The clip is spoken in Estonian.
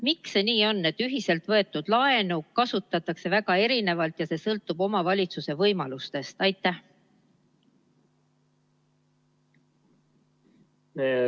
Miks see nii on, et ühiselt võetud laenu kasutatakse väga erinevalt ja see sõltub omavalitsuse võimalustest?